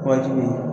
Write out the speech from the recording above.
Wajibi